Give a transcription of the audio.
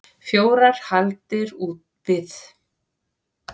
Fjórar hagldir úr við.